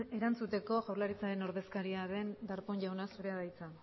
erantzuteko jaurlaritzaren ordezkari den darpón jauna zurea da hitza